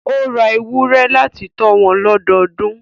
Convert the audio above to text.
Ó ra ewúrẹ́ láti tọ́ wọn lọ́dọdún